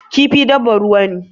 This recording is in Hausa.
Kifi dabbar ruwa ne.